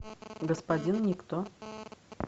господин никто